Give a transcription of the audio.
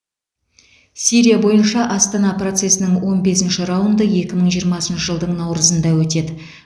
сирия бойынша астана процесінің он бесінші раунды екі мың жиырмасыншы жылдың наурызында өтеді